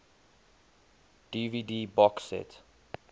dvd box set